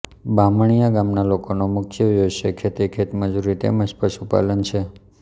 બામણીયા ગામના લોકોનો મુખ્ય વ્યવસાય ખેતી ખેતમજૂરી તેમ જ પશુપાલન છે